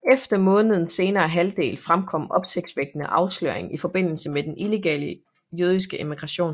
Under månedens senere halvdel fremkom opsigtsvækkende afsløringer i forbindelse med den illegale jødiske immigration